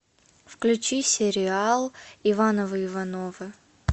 включи сериал ивановы ивановы